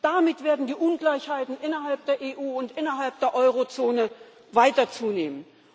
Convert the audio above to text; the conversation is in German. Damit werden die Ungleichheiten innerhalb der EU und innerhalb der Eurozone weiter zunehmen.